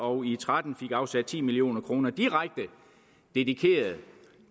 og tretten afsat ti million kroner direkte dedikeret